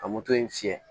Ka moto in fiyɛ